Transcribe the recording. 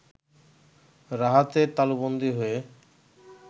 রাহাতের তালুবন্দী হয়ে